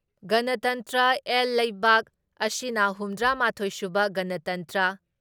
ꯒꯅꯇꯟꯇ꯭ꯔ ꯑꯦꯜ ꯂꯩꯕꯥꯛ ꯑꯁꯤꯅ ꯍꯨꯝꯗ꯭ꯔꯥ ꯃꯥꯊꯣꯏ ꯁꯨꯕ ꯒꯅꯇꯟꯇ꯭ꯔ